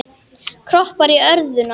Kroppar í örðuna.